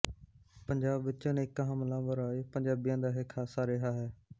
ਪੰਜਾਬ ਵਿੱਚ ਅਨੇਕਾਂ ਹਮਲਾਵਰ ਆਏ ਪੰਜਾਬੀਆਂ ਦਾ ਇਹ ਖਾਸਾ ਰਿਹਾ ਹੈ